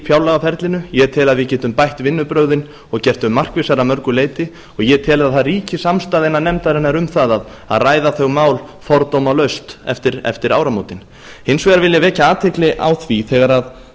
fjárlagaferlinu ég tel að við getum bætt vinnubrögðin og gert þau markvissari að mörgu leyti ég tel að það ríki samstaða innan nefndarinnar um það að ræða þau mál fordómalaust eftir áramótin hins vegar vil ég vekja athygli á því